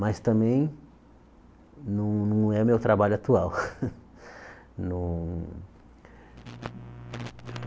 Mas também não não é meu trabalho atual. No